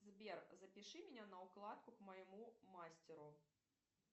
сбер запиши меня на укладку к моему мастеру